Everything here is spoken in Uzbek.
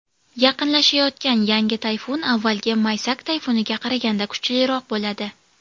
Yaqinlashayotgan yangi tayfun avvalgi Maysak tayfuniga qaraganda kuchliroq bo‘ladi.